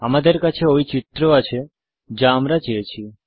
আমাদের কাছে ওই চিত্র আছে যা আমরা চেয়েছি